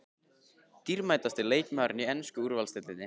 Dýrmætasti leikmaðurinn í ensku úrvalsdeildinni?